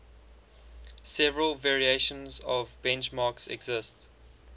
several variations of benchmarks exist